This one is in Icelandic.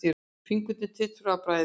Fingurnir titruðu af bræði.